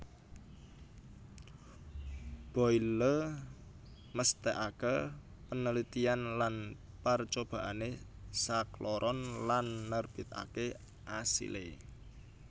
Boyle mesthèkaké panalitiyan lan parcobaané sakloron lan nerbitaké asilé